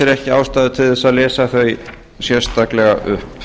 ekki ástæðu til að lesa þau sérstaklega upp